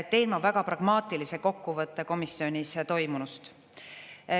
Teen väga pragmaatilise kokkuvõtte komisjonis toimunust.